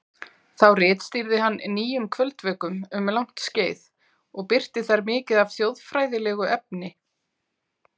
Þá ritstýrði hann Nýjum kvöldvökum um langt skeið og birti þar mikið af þjóðfræðilegu efni.